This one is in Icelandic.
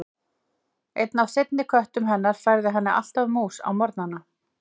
Einn af seinni köttum hennar færði henni alltaf mús á morgnana.